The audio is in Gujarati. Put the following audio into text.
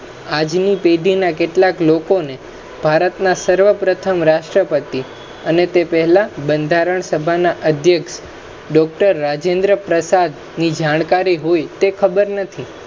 આજની પેઢીના કેટલાક લોકો ને ભારતના સર્વપ્રથમ રાષ્ટ્રપતિ ને તે પહેલા ના બંધારણ સભા ના અધયક્ષ doctor રાજેન્દ્ર પ્રસાદ ની જાણકારી હોય તે ખબર નથી,